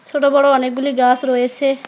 সোট বড় অনেক গুলি গাছ রয়েসে।